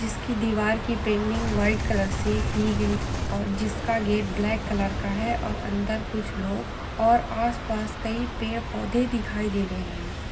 जिसकी दीवार की पेंडिंग वाइट कलर से की गई और जिसका गेट ब्लैक कलर का है और अंदर कुछ लोग और आस-पास कई पेड़ -पौधे दिखाई दे रहे हैं।